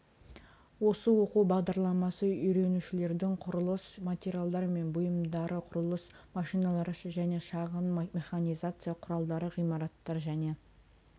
осы оқу бағдарламасы үйренушілердің құрылыс материалдар мен бұйымдары құрылыс машиналары және шағын механизация құралдары ғимараттар және